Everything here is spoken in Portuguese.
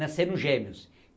gêmeos.